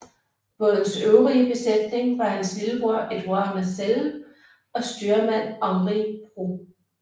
Bådens øvrige besætning var hans lillebror Édouard Marcelle og styrmand Henri Préaux